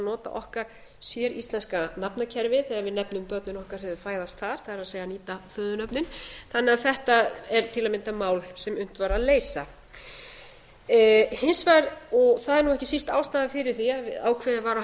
nota okkar séríslenska nafnakerfi þegar við nefnum börnin okkar þegar þau fæðast þar það er nýta föðurnöfnin þannig að þetta er til að mynda mál sem unnt var að leysa hins vegar og það er nú ekki síst ástæðan fyrir því að ákveðið var að